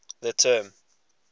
the term